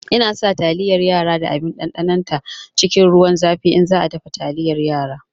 Ina sa taliyar yara da abin ɗanɗanon ta cikin ruwan zafi in za a dafa taliyar yara